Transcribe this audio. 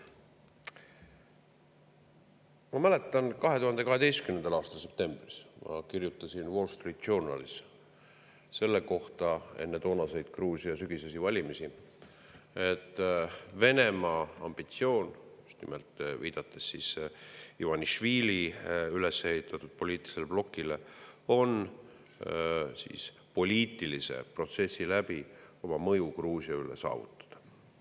Ma mäletan, 2012. aasta septembris ma kirjutasin Wall Street Journalis enne toonaseid Gruusia sügisesi valimisi, et Venemaa ambitsioon – ma just nimelt viitasin Ivanišvili üles ehitatud poliitilisele blokile – on poliitilise protsessi abil saavutada mõju Gruusia üle.